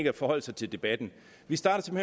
at forholde sig til debatten vi starter